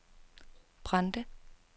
Brande